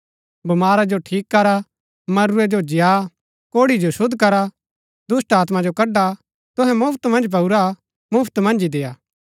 बमारा जो ठीक करा मरूरै जो जिय्आ कोढ़ी जो शुद्ध करा दुष्‍टात्मा जो कडआ तुहै मुफ्‍त मन्ज पाऊरा मुफ्‍त मन्ज ही देय्आ